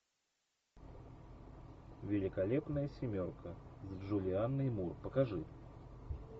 великолепная семерка с джулианной мур покажи